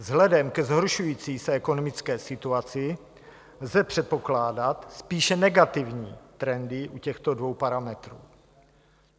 Vzhledem ke zhoršující se ekonomické situaci lze předpokládat spíše negativní trendy u těchto dvou parametrů.